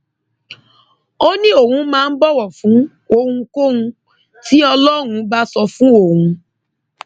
ó ní òun máa ń bọwọ fún ohunkóhun tí ọlọrun bá sọ fún òun